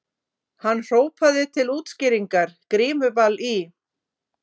Hann hrópaði til útskýringar:- Grímuball í